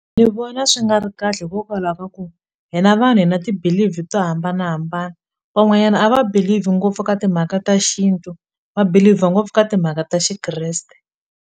Ni vona swi nga ri kahle hikokwalaho ka ku hina vanhu hi na ti-believe to hambanahambana van'wanyana a va believe ngopfu ka timhaka ta xintu va believe ngopfu ka timhaka ta xikreste.